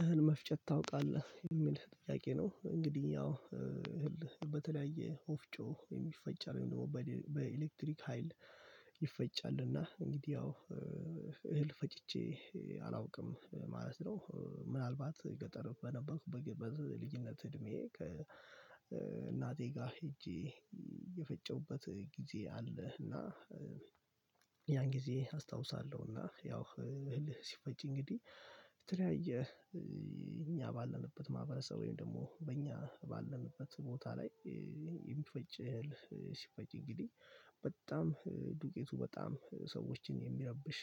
እህል መፍጨት ታውቃለህ? የሚል ጥያቄ ነው እንግዲህ ያው በተለያየ ወፍጮ የሚፈጭ አለም ደግሞ በኤሌክትሪክ ሀይል ይፈጫልና እንግዲህ ያው እህል ፈጭቼ አላውቅም ማለት ነው። ምናልባት ገጠር በነበርኩበት በልጅነት እድሜ ከእናቴ ጋር ሄጄ የፈጨሁበት ጊዜ አለህ እና ያን ጊዜ አስታውሳለሁና ያው እልህ ሲፈጭ እንግዲህ የተለያየ እኛ ባለንበት ማህበረሰብ ወይም ደግሞ በእኛ ባለንበት ቦታ ላይ የሚፈጭ እህል ሲፈጭ እንግዲህ በጣም ዱቄቱ በጣም ሰዎችን የሚረብሽ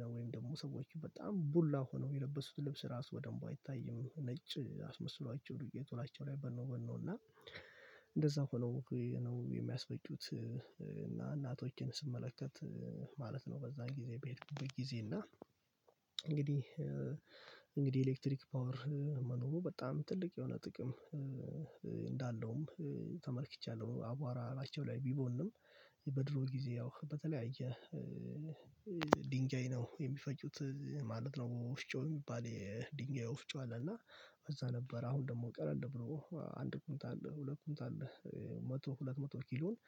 ነው ደግሞ ሰዎች በጣም ቡላ ሆነው የለበሱት ልብስ ራሱ በደንብ አይታይም ነጭ አስመስሏቸው ዱቄ እላያቸው ላይ በኖ በኖ እና እንደዛ ሆኖ ነው የሚያስበጩት እና እናቶቼን ስመለከት ማለት ነው በዛን ጊዜ በሄድኩበት ጊዜ እና እንግዲህ እንግዲህ ኤሌክትሪክ ፓወር መኖሩ በጣም ትልቅ የሆነ ጥቅም እንዳለውም ተመልክቻለሁ አቧራ እላያቸው ላይ ቢቦንም በድሮ ጊዜ ያው በተለያየ ድንጋይ ነው የሚፈጩት ማለት ነው። ወፍጮ የሚባል የድንጋይ ወፍጮ አለ እና እዛ ነበር አሁን ደግሞ ቀለል ብሎ አንድ ኩንትል፣ ሁለት ኩንትል መቶ ሁለት መቶ ኪሎን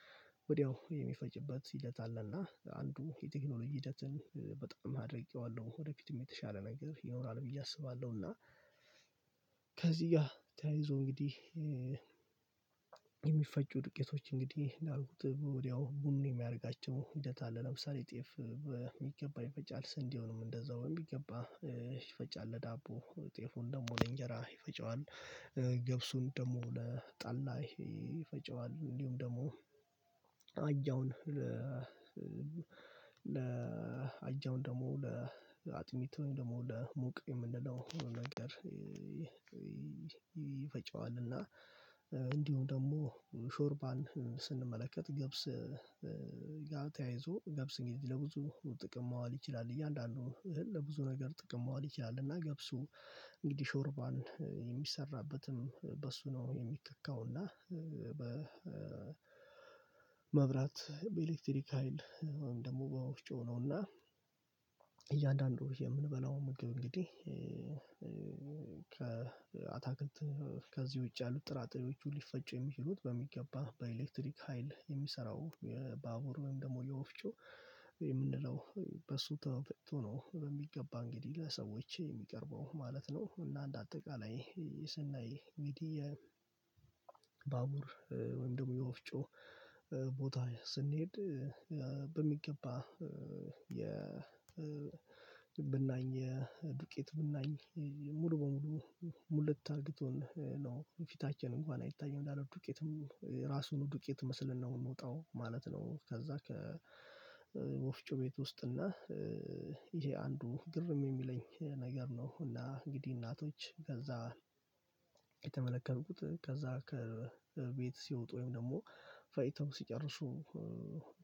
ወዲያው የሚፈጭበት ሂደት አለና አንዱ የቴክኖሎጂ ሂደትን በጣም አድርቄዋለሁ ወደፊትም የተሻለ ነገር ይኖራል ብዬ አስባለሁና እና ከዚህ ጋር ተያይዞ እንግዲህ የሚፈጩ ዱቄቶች እንግዲህ እንዳልኩት ወዲያው ቡኑ የሚያደርጋቸው ሂደት አለ ለምሳሌ ጤፍ በሚገባ ይፈጫል ስንዴዉንም እንደዛው በሚገባ ይፈጫል ለዳቦ ጤፉን ደግሞ ለእንጀራ ይፈጨዋል ገብሱን ደግሞ ለጠላ ይፈጭዋል እንዲሁም ደግሞ አጃውን ለ ለአጃውን ደግሞ ለአጥሚት ደግሞ ለሙቅ የምንለው ነገር ይፈጨዋል እና እንዲሁ ደግሞ ሾርባን ስንመለከት ገብስ ጋር ተያይዞ ገብስ እንግዲህ ለብዙ ጥቅም ማዋል ይችላል። እያንዳንዱ ለብዙ ነገር ጥቅም ማዋል ይችላል እና ገብሱ እንግዲህ ሾርባን የሚሰራበትም በሱ ነው የሚከካው እና በመብራት በኤሌክትሪክ ሀይል ወይም ደግሞ በወፍጮው ነውና እያንዳንዱ የምንበላው ምግብ እንግዲህ ከአታክልት ከዚህ ውጪ ያሉት ጥራጥሬዎቹ ሊፈጩ የሚችሉት በሚገባ በኤሌክትሪክ ሀይል የሚሰራው ባቡር ወይም ደግሞ የወፍጮ የምንለው በሱ ተፈጭቶ ነው በሚገባ እንግዲህ ለሰዎች የሚቀርበው ማለት ነው፣ እና አንድ አጠቃላይ ስናይ ሚዲያ ባቡር ወይም ደግሞ የወፍጮ ቦታ ስንሄድ በሚገባ የ ብናኝ የድቄት ብናኝ ሙሉ በሙሉ ሙት አርግቶን ነው ፊታችን እንኳን አይታይም እንዳለ ዱቄትም ራሱን ዱቄት መስለን ነው የምንወጣው ማለት ነው ከዛ ከወፍጮ ቤት ውስጥ እና ይሄ አንዱ ግርም የሚለኝ ነገር ነው፣ እና እንግዲህ እናቶች ከዛ የተመለከትኩት ከዛ ከቤት ሲወጡ ወይም ደግሞ ፈጭተው ሲጨርሱ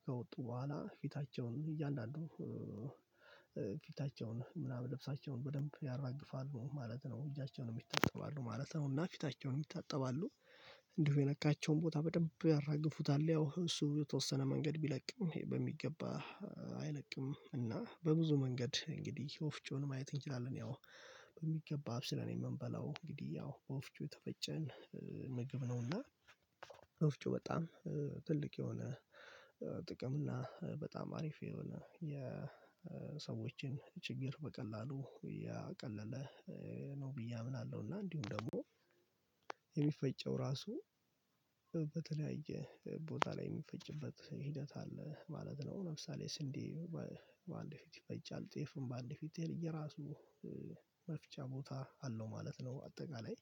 ከወጡ በኋላ ፊታቸውን እያንዳንዱ ፊታቸውን ምናምን ልብሳቸውን በደንብ ያራግፋሉ ማለት ነው፣ እጃቸውን ይታጠባሉ ማለት ነው፣ እና ፊታቸውን ይታጠባሉ። እንዲሁ የነካቸውን ቦታ በደንብ ያራግፉታል ያው እሱ የተወሰነ መንገድ ቢለቅም በሚገባ አይለቅም እና በብዙ መንገድ እንግዲህ ወፍጮን ማየት እንችላለን ያው በሚገባ አብስለን የምንበላው እንግዲህ ያው በወፍጮ የተፈጨን ምግብ ነውና ወፍጮ በጣም ትልቅ የሆነ ጥቅም እና በጣም አሪፍ የሆነ የሰዎችን ችግር በቀላሉ ያቀለለ ነው ብዬ አምናለሁ፣ እና እንዲሁም ደግሞ የሚፈጨው ራሱ በተለያየ ቦታ ላይ የሚፈጭበት ሂደት አለ ማለት ነው፣ ለምሳሌ ስንዴ በአንድ ፊት ይፈጫል ጤፍም በአንድ ፊት እየየራሱ መፍጫ ቦታ አለው ማለት ነው። አጠቃላይ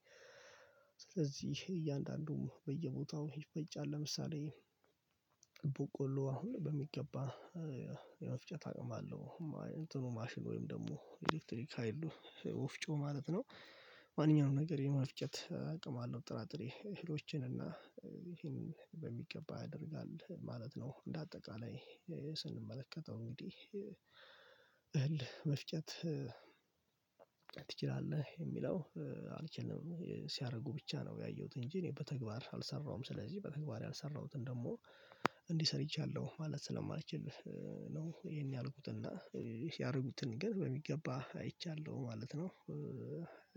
ስለዚህ እያንዳንዱም በየቦታው ይፈጫል ለምሳሌ ቦቆሎ አሁን በሚገባ የመፍጨት አቅም አለው እንትኑ ማሽን ወይም ደግሞ ኤሌክትሪክ ሀይሉ ወፍጮ ማለት ነው ማንኛውም ነገር የመፍጨት አቅም አለው ጥራጥሬ እህሎችን እና ይሄንን በሚገባ ያደርጋል ማለት ነው እንደ አጠቃላይ ስንመለከተው እንግዲህ እህል መፍጨት ትችላለህ የሚለው አልችልም ሲያደርጉ ብቻ ነው ያየሁት እንጂ እኔ በተግባር አልሰራሁም ስለዚህ በተግባር ያልሰራሁትን ደግሞ እንዲህ ሰርቻለሁ ማለት ስለማልችል ነው ይሄን ያልኩትና ያረጉትን ግን በሚገባ አይቻለሁ ማለት ነው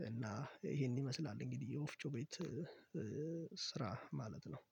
እና ይሄን ይመስላል እንግዲህ የወፍጮ ቤት ስራ ማለት ነው።